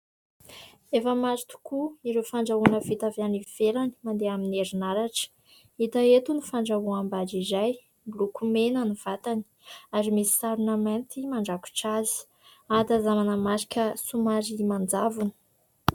Efa maro tokoa ireo fandrahoana vita avy any ivelany mandeha amin'ny herinaratra. hita eto ny fandrahoam-bary iray, miloko mena ny vatany ary misy sarona mainty mandrakotra azy ; ahatazanana marika somary manjavona.